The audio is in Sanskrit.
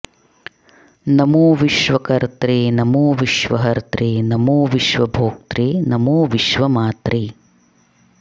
नमो विश्वकर्त्रे नमो विश्वहर्त्रे नमो विश्वभोक्त्रे नमो विश्वमात्रे